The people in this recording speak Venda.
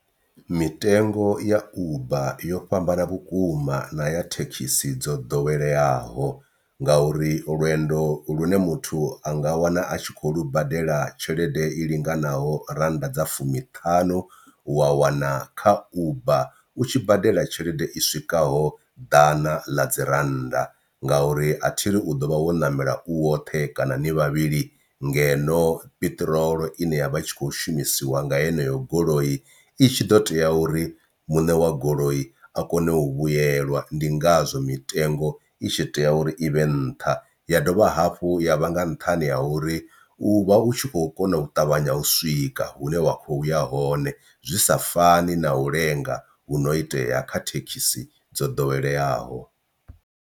Mitengo ya uber yo fhambana vhukuma na ya thekhisi dzo ḓoweleaho ngauri lwendo lune muthu anga wana a tshi kho lu badela tshelede i linganaho rannda dza fumiṱhanu wa wana kha uber u tshi badela tshelede i swikaho ḓana ḽa dzi rannda, ngauri athiri u ḓo vha wo ṋamela u woṱhe kana ni vhavhili ngeno piṱirolo ine ya vha i tshi kho shumisiwa nga yeneyo goloi i tshi ḓo tea uri muṋe wa goloi a kone u vhuyelwa. Ndi ngazwo mitengo i tshi tea uri ivhe nṱha ya dovha hafhu ya vha nga nṱhani ha uri u vha u tshi khou kona u ṱavhanya u swika hune wa kho ya hone zwi sa fani na u lenga hu no itea kha thekhisi dzo ḓoweleaho.